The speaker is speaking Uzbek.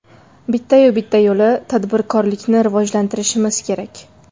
Bitta-yu bitta yo‘li tadbirkorlikni rivojlantirishimiz kerak.